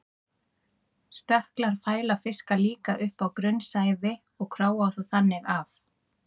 Stökklar fæla fiska líka upp á grunnsævi og króa þá þannig af.